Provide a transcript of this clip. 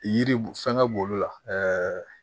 Yiri bu fɛngɛ b'olu la